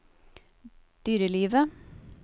dyrelivet